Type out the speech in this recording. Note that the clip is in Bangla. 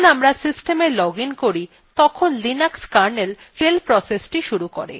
যখন আমরা system login করি তখন linux kernel shell process শুরু করে